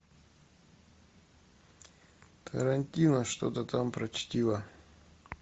тарантино что то там про чтиво